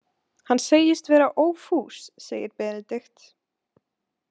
Hann segist vera ófús, segir Benedikt.